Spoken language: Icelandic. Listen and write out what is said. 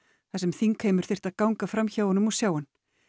þar sem þingheimur þyrfti að ganga fram hjá honum og sjá hann